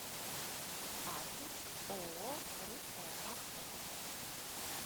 адрес ооо русская охота